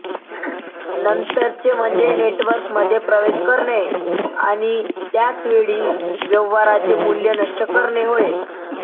नंतरचे म्हणजे नेटवर्कमध्ये प्रवेश करणे आणि त्याच वेळी व्यवहाराचे मूल्य नष्ट करणे होय